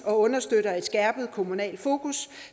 og understøtter et skærpet kommunalt fokus